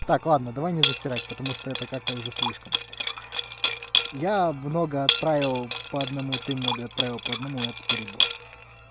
так ладно давай не засерать потому что это как-то уже слишком я много отправил по одному ты много отправил по одному это перебор